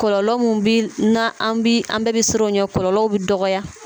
Kɔlɔlɔ mun bi na an bi an bɛɛ bɛ siran o ɲɛ kɔlɔlɔw bɛ dɔgɔya